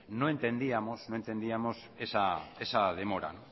no entendíamos esa demora